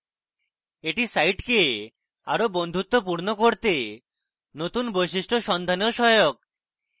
এটি সাইটকে আরো বন্ধুত্বপূর্ণ করতে নতুন বৈশিষ্ট্য সন্ধানেও সহায়ক